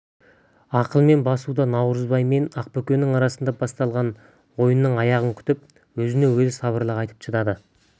ақылмен басуда наурызбай мен ақбөкеннің арасында басталған ойынның аяғын күтіп өзіне өзі сабырлық айтып шыдай